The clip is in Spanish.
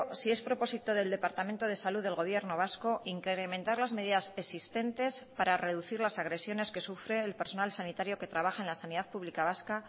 sí es propósito del departamento de salud del gobierno vasco incrementar las medidas existentes para reducir las agresiones que sufre el personal sanitario que trabaja en la sanidad pública vasca